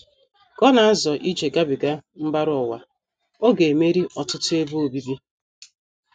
Ka ọ na - azọ ije gabiga “ mbara ụwa, ” ọ ga - emeri ọtụtụ ebe obibi.